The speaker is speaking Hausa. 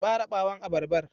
Ki ɓare ɓawon abarbar.